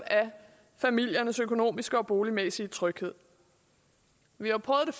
familiernes økonomiske og boligmæssige tryghed vi har prøvet